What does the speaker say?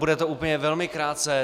Bude to úplně velmi krátce.